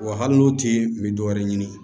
Wa hali n'o tɛ n mi dɔwɛrɛ ɲini